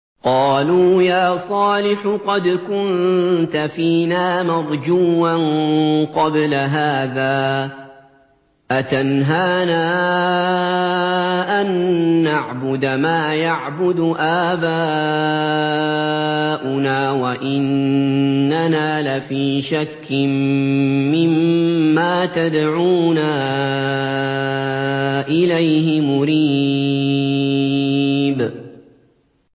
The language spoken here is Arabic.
قَالُوا يَا صَالِحُ قَدْ كُنتَ فِينَا مَرْجُوًّا قَبْلَ هَٰذَا ۖ أَتَنْهَانَا أَن نَّعْبُدَ مَا يَعْبُدُ آبَاؤُنَا وَإِنَّنَا لَفِي شَكٍّ مِّمَّا تَدْعُونَا إِلَيْهِ مُرِيبٍ